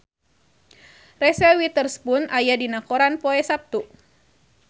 Reese Witherspoon aya dina koran poe Saptu